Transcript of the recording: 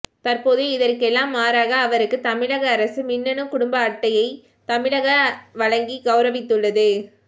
தற்போது இதற்கெல்லாம் மாறாக அவருக்கு தமிழக அரசு மின்னணு குடும்ப அட்டையை தமிழக வழங்கி கௌரவித்துள்ளது